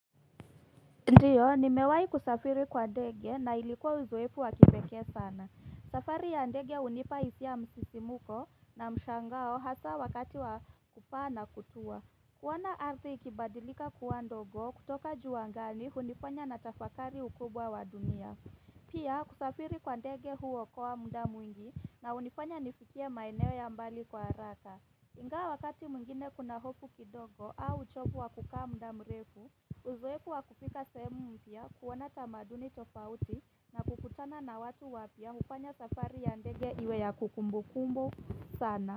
Ndiyo, nimewai kusafiri kwa ndege na ilikuwa uzoevu wa kipekee sana. Safari ya ndege unipa hisia msisimko na mshangao hasa wakati wa kupaa na kutua. Kuona arzi ikibadilika kuwa ndogo kutoka juubangani unifanya natafakari ukubwa wa dumia. Pia, kusafiri kwa ndege huokoa mda mwingi na unifanya nifikie maeneo ya mbali kwa haraka. Ingawa wakati mwingine kuna hofu kidogo au uchovu wa kukaa muda mrefu, uzoefu wa kufika sehemu mpya, kuona tamaduni tofauti na kukutana na watu wapya ufanya safari ya ndege iwe ya kukumbu kumbo sana.